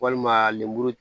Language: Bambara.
Walima lemuru